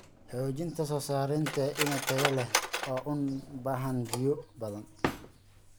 Xoojinta soo saarista iniin tayo leh oo u baahan biyo badan.